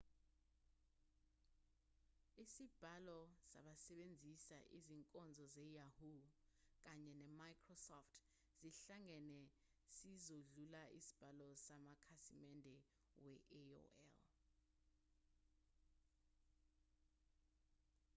isibalo sabasebenzisa izinkonzo ze-yahoo kanye ne-microsoft sihlangene sizodlula isibalo samakhasimende we-aol